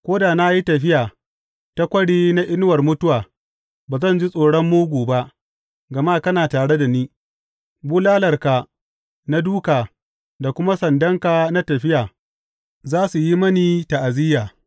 Ko da na yi tafiya ta kwari na inuwar mutuwa, ba zan ji tsoron mugu ba, gama kana tare da ni; bulalarka na dūka da kuma sandanka na tafiya, za su yi mini ta’aziyya.